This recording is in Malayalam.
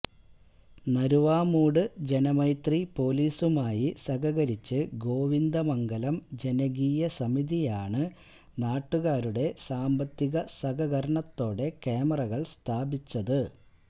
നരുവാമൂട് ജനമൈത്രി പോലീസുമായി സഹകരിച്ച് ഗോവിന്ദമംഗലം ജനകീയ സമിതിയാണ് നാട്ടുകാരുടെ സാമ്പത്തിക സഹകരണത്തോടെ ക്യാമറകള് സ്ഥാപിച്ചത്